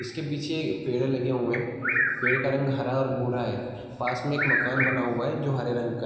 इसके पीछे ये पेड़ लगे हुए हैं पेड़ का रंग हरा और भूरा है पास में एक मकान बना हुआ है जो हरे रंग का --